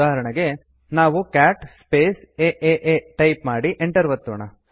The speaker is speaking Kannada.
ಉದಾಹರಣೆಗೆ ನಾವು ಕ್ಯಾಟ್ ಸ್ಪೇಸ್ ಏಎ ಟೈಪ್ ಮಾಡಿ Enter ಒತ್ತೋಣ